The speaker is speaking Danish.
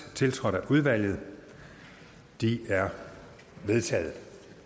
tiltrådt af udvalget de er vedtaget